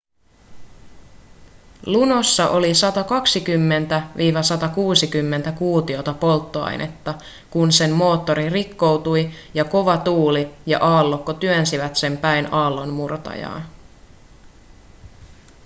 lunossa oli 120-160 kuutiota polttoainetta kun sen moottori rikkoutui ja kova tuuli ja aallokko työnsivät sen päin aallonmurtajaa